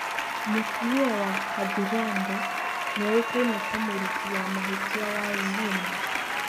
Mũtumia wa Kathiranda nĩoĩkaine ta mũruti wa mahĩtia wa Zuma.